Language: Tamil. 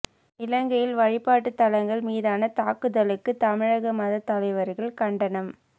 இலங்கையில் வழிபாட்டுத் தலங்கள் மீதான தாக்குதலுக்கு தமிழக மதத் தலைவர்கள் கண்டனம்